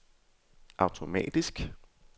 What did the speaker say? automatisk